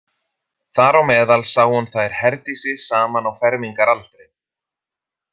Þar á meðal sá hún þær Herdísi saman á fermingaraldri.